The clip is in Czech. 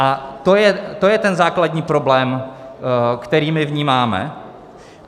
A to je ten základní problém, který my vnímáme.